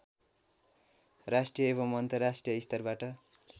राष्ट्रिय एवं अन्तर्राष्ट्रिय स्तरबाट